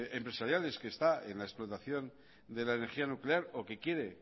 empresariales que está en la explotación de la energía nuclear o que quiere